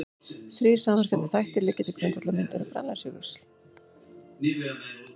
Þrír samverkandi þættir liggja til grundvallar myndun Grænlandsjökuls.